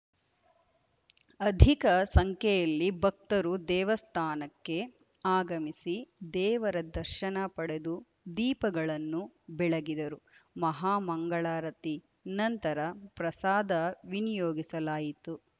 ಅಧಿಕ ಸಂಖ್ಯೆಯಲ್ಲಿ ಭಕ್ತರು ದೇವಸ್ಥಾನಕ್ಕೆ ಆಗಮಿಸಿ ದೇವರ ದರ್ಶನ ಪಡೆದು ದೀಪಗಳನ್ನು ಬೆಳಗಿದರು ಮಹಾ ಮಂಗಳಾರತಿ ನಂತರ ಪ್ರಸಾದ ವಿನಿಯೋಗಿಸಲಾಯಿತು